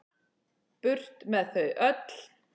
Burt með þau öll.